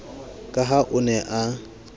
ka ha o ne a